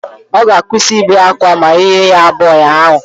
Ọ ga-akwụsị ibe akwa ma ị nye ya bọọlụ ahụ